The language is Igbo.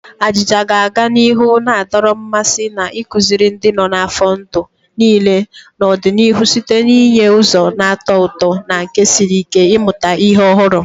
Ajija ga-aga n'ihu na-adọrọ mmasị na ịkụziri ndị nọ n'afọ ndụ niile n'ọdịnihu site n'inye ụzọ na-atọ ụtọ na nke siri ike ịmụta ihe ọhụrụ.